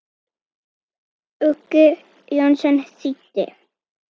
Uggi Jónsson þýddi.